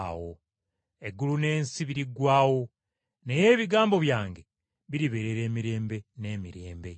Eggulu n’ensi biriggwaawo, naye ebigambo byange biribeerera emirembe n’emirembe.”